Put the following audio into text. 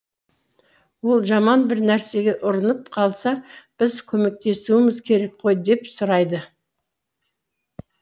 ол жаман бір нәрсеге ұрынып қалса біз көмектесуіміз керек қой деп сұрайды